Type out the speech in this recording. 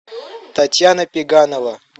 татьяна пеганова